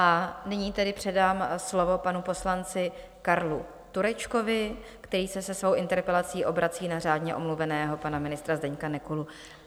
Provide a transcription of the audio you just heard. A nyní tedy předám slovo panu poslanci Karlu Turečkovi, který se se svou interpelací obrací na řádně omluveného pana ministra Zdeňka Nekulu.